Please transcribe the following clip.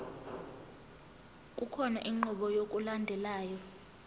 kukhona inqubo yokulandelayo